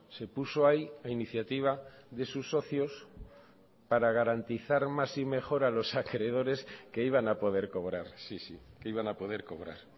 se puso ahí a iniciativa de sus socios para garantizar más y mejor a los acreedores que iban a poder cobrar sí sí que iban a poder cobrar